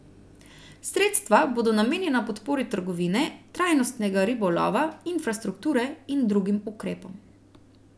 Sredstva bodo namenjena podpori trgovine, trajnostnega ribolova, infrastrukture in drugim ukrepom.